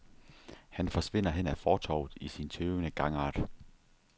Han forsvinder hen ad fortovet i sin tøvende gangart.